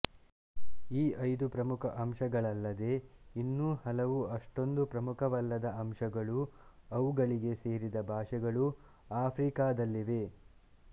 ಈ ಐದು ಪ್ರಮುಖ ವಂಶಗಳಲ್ಲದೆ ಇನ್ನೂ ಹಲವು ಅಷ್ಟೊಂದು ಪ್ರಮುಖವಲ್ಲದ ವಂಶಗಳೂ ಅವುಗಳಿಗೆ ಸೇರಿದ ಭಾಷೆಗಳೂ ಆಫ್ರಿಕದಲ್ಲಿವೆ